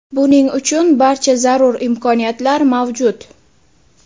Buning uchun barcha zarur imkoniyatlar mavjud.